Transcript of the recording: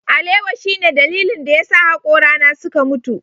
Alewa shine dalilin da yasa hakorana suka mutu.